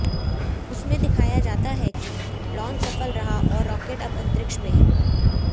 उसमें दिखाया जाता है कि लांच सफल रहा और रॉकेट अब अंतरिक्ष में है